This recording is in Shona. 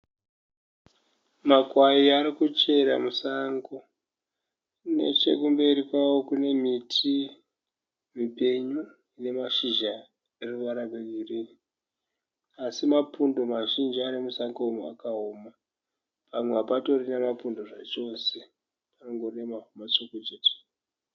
Makwai arikuchera musango, nechekumberi kwavo kune miti ipenyu ine mashizha eruvara rwe ghirini asi mapundu mazhinji ari musango umu akaoma. Pamwe hapatorina mapundu zcachose pangori nemavhu matsvuku chete.